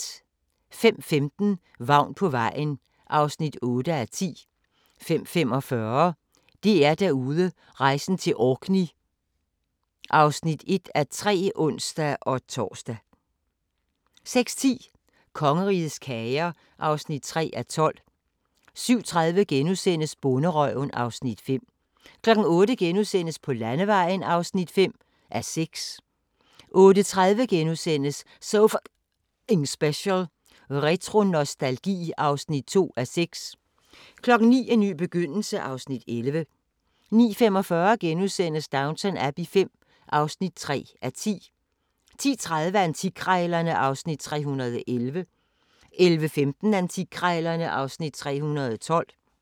05:15: Vagn på vejen (8:10) 05:45: DR-Derude: Rejsen til Orkney (1:3)(ons-tor) 06:10: Kongerigets kager (3:12) 07:30: Bonderøven (Afs. 5)* 08:00: På landevejen (5:6)* 08:30: So F***ing Special: Retro-nostalgi (2:6)* 09:00: En ny begyndelse (Afs. 11) 09:45: Downton Abbey V (3:10)* 10:30: Antikkrejlerne (Afs. 311) 11:15: Antikkrejlerne (Afs. 312)